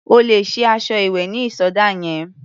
O lè sí aṣọ ìwẹ̀ ní ìsọdá yẹn.